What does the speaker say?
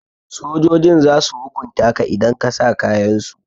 Sojojin zasu hukunta ka idan ka sa kayansu.